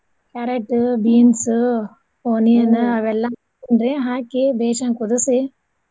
Carrot beans onion ಅವೆಲ್ಲಾ ಹಾಕ್ತೇನರೀ ಹಾಕಿ ಬೇಷಂಗ್ ಕುದ್ಸಿ.